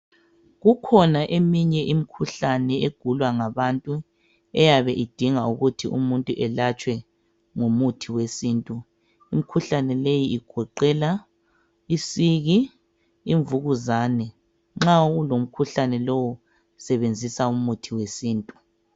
Kukhona eminye imikhuhlane egulwa ngabantu eyabe idinga ukuthi umuntu elatshwe ngomuthi wesintu. Imikhuhlane leyi igoqela isiki, imvukuzane. Nxa ulomkhuhlane lowo sebenzisa umuthi wesintu.